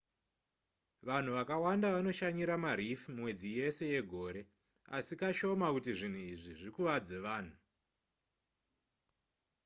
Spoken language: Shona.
vanhu vakawanda vanoshanyira mareef mwedzi yese yegore asi kashoma kuti zvinhu izvi zvikuvadze vanhu